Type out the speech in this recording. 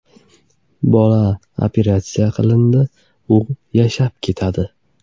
Bola operatsiya qilindi, u yashab ketadi.